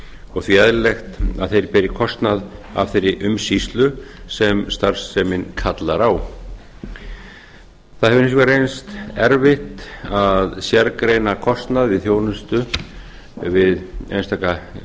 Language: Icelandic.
og því eðlilegt að þeir beri kostnað af þeirri umsýslu sem starfsemin kallar á það hefur hins vegar reynst erfitt að sérgreina kostnað við þjónustu við einstaka